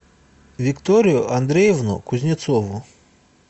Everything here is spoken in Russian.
викторию андреевну кузнецову